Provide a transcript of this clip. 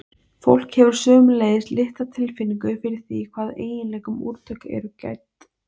Fólk hefur sömuleiðis litla tilfinningu fyrir því hvaða eiginleikum úrtök eru gædd.